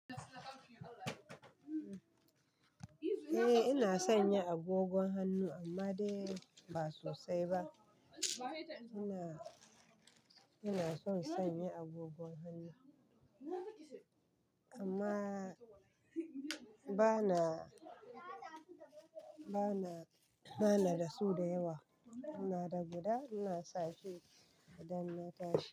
Eh ina sanya agogon hannu amma dai ba sosai ba. Ina, ina son sanya agogon hannu amma bana, bana, bana da su da yawa. Ina da guda ina sashi idan na tashi.